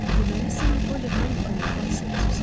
Deməli, sən Polly Harrinqtonun bacısı qızısan.